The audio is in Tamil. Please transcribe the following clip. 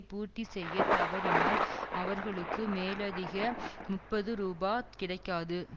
பூர்த்தி செய்ய தவறினால் அவர்களுக்கு மேலதிக முப்பது ரூபா கிடைக்காது